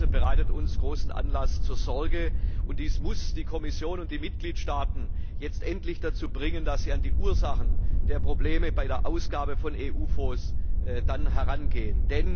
Dies bereitet uns großen Anlass zur Sorge, und dies muss die Kommission und die Mitgliedstaaten jetzt endlich dazu bringen, dass sie an die Ursachen der Probleme bei der Ausgabe von EU Fonds herangehen.